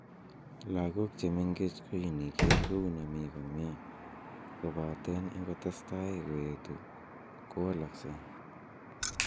Logok che mengech ko iniker kou ne mi komie kopaten ingoteseta kowetu kowalksei.